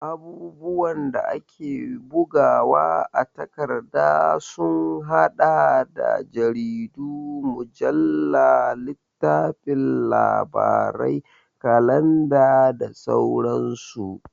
Abubuwan da ake bugawa a takarda sun haɗa da jaridu, mujalla, littafin labarai, kalanda da sauransu.